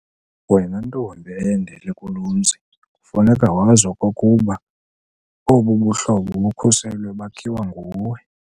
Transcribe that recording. Wena ntombi eyendele kulo mzi kufuneka wazi okokuba obu buhlobo bukhuselwe bakhiwa nguwe.